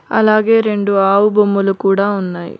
అలాగే రెండు ఆవు బొమ్మలు కూడా ఉన్నాయి.